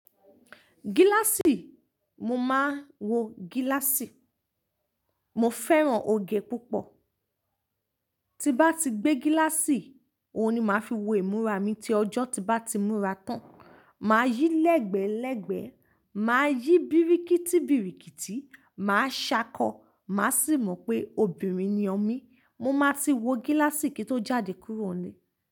Gíláàsì, mo maa ń wo gíláàsì. Mo fẹ́ràn oge púpọ̀. Ti bá ti gbé gíláàsì, òun ni màá fi wo ìmúra mi tí ọjọ́ bá ti múra tán. Màá yí lẹ́gbẹ́ẹ́lẹ́gbẹ́, màá yí bírikítí bírikítí, màá ṣákọ, màá sì mọ pé obìnrin ni omi. Mo máa ti wo gíláàsì kí ó jáde kurò n le.